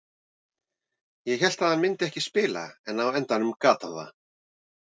Ég hélt að hann myndi ekki spila en á endanum gat hann það.